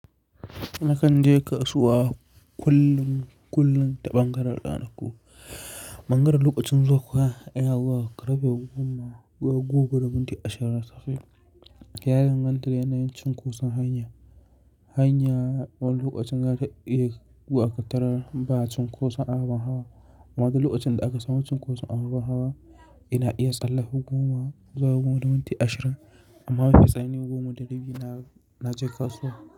Nakan je kasuwa kullum, kullum ta ɓangaren ranaku Ɓangaren lokacin zuwan oga yana zuwa karfe goma gobe da minti ashirin da tara. Ya danganta da yanayin cunkoson hanya, hanya wanda lokacin ga ta iya gudanar ba cunkoson ababen hawa. Amma da lokacin da aka samu cunkoson ababen hawa, ina iya tsalla goma zuwa goma da minti ashirin amma mafi tsanin goma da dubi na je kasuwa.